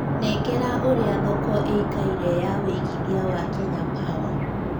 nengera ũrĩa thoko ĩikaire ya wĩigĩthĩa wa Kenya power